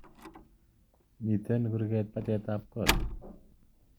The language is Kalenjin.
Mitten kurget batet ab kot